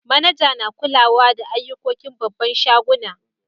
Manajar na kulawa da ayukokin babban shagunan.